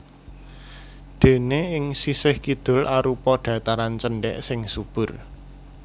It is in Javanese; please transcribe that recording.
Déné ing sisih kidul arupa dhataran cendhèk sing subur